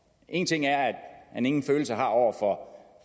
en ting er at han ingen følelse har over for